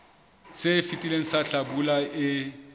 se fetileng sa hlabula e